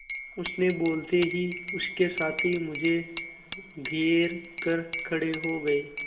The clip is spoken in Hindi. उसके बोलते ही उसके साथी मुझे घेर कर खड़े हो गए